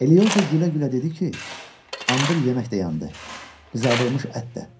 Eliozo gülə-gülə dedi ki, andır yemək də yandı, qızardılmış ət də.